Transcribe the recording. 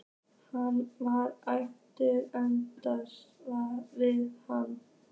Hann var æpandi andstæða við hana.